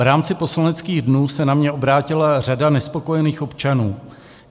V rámci poslaneckých dnů se na mě obrátila řada nespokojených občanů.